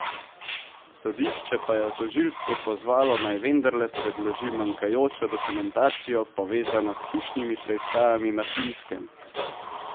Sodišče pa je tožilstvo pozvalo, naj vendarle predloži manjkajočo dokumentacijo, povezano s hišnimi preiskavami na Finskem.